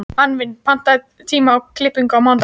Anfinn, pantaðu tíma í klippingu á mánudaginn.